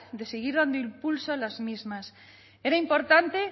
de seguir dando impulso a las mismas era importante